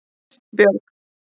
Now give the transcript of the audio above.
Kristbjörg